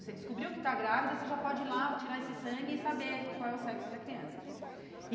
Você descobriu que tá grávida, você já pode ir lá, tirar esse sangue hum e saber qual é o sexo da criança e.